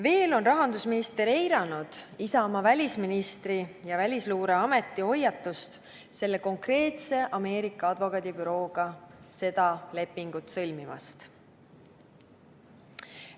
Veel on rahandusminister eiranud Isamaa välisministri ja Välisluureameti hoiatust selle konkreetse advokaadibürooga lepingu sõlmimise kohta.